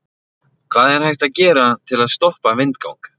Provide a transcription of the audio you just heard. Hvað er hægt að gera til að stoppa vindgang?